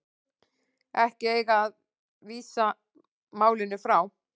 Ekki eigi að vísa málinu frá